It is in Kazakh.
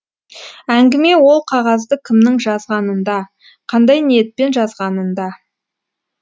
әңгіме ол қағазды кімнің жазғанында қандай ниетпен жазғанында